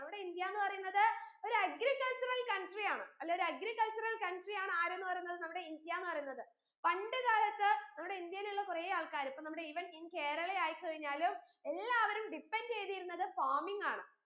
നമ്മുടെ ഇന്ത്യാന്ന് പറീന്നത് ഒരു agricultural country യാണ് അല്ലേ ഒരു agricultural country യാണ് ആരുന്ന് പറീന്നത് നമ്മുടെ ഇന്ത്യാന്ന് പറീന്നത് പണ്ട് കാലത്ത് നമ്മുടെ ഇന്ത്യയിലുള്ള കുറേ ആൾകാർ അപ്പോ നമ്മുടെ even in കേരളയായി കഴിഞ്ഞാലും എല്ലാവരും depend എയ്തിരുന്നത് farming ആണ്